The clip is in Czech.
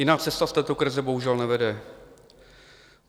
Jiná cesta z této krize bohužel nevede.